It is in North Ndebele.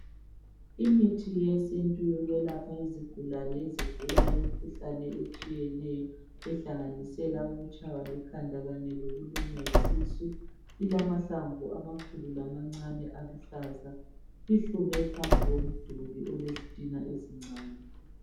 Imithi yesintu yokwelapha izigulane ezigula imikhuhlane etshiyeneyo ehlanganisela ukutshaywa likhanda kanye lokulunywa yisisu ilamahlamvu amakhulu lamancane aluhlaza ihlume phambi komduli olezitina ezincane.